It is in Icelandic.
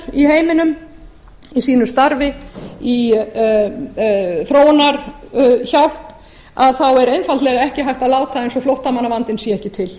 í heiminum í mínu starfi í þróunarhjálp er einfaldlega ekki hægt að láta eins og flóttamannavandinn sé ekki til